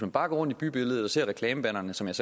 bare går rundt i bybilledet og ser reklamebannerne som jeg